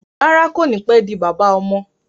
Rárá, kò ní pé di bàbá ọmọ